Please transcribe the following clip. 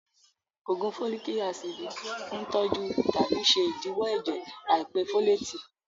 Ògùn fólìk ácìdì ń tọ́jú tàbí ṣe ìdíwọ́ ẹ̀jẹ̀ àìpé fólètì